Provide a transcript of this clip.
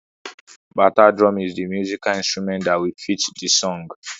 Bata drum is the musical instrument that will fit the song.